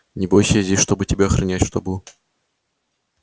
не бойся я здесь чтобы тебя охранять чтобы